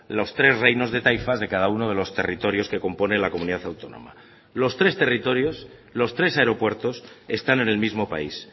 los tres reinos de taifas de cada uno de los territorios que componen la comunidad autónoma los tres territorios los tres aeropuertos están en el mismo país